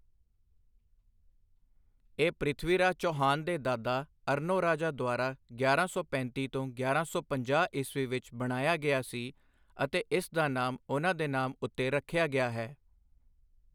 ਇਹ ਪ੍ਰਿਥਵੀਰਾਜ ਚੌਹਾਨ ਦੇ ਦਾਦਾ ਅਰਨੋਰਾਜਾ ਦੁਆਰਾ ਗਿਆਰਾਂ ਸੌ ਪੈਂਤੀ ਤੋਂ ਗਿਆਰਾਂ ਸੌ ਪੰਜਾਹ ਈਸਵੀ ਵਿੱਚ ਬਣਾਇਆ ਗਿਆ ਸੀ ਅਤੇ ਇਸ ਦਾ ਨਾਮ ਉਹਨਾਂ ਦੇ ਨਾਮ ਉੱਤੇ ਰੱਖਿਆ ਗਿਆ ਹੈ।